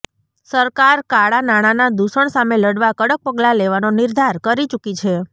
સરકાર કાળા નાણાના દુષણ સામે લડવા કડક પગલા લેવાનો નિર્ધાર કરી ચૂકી છે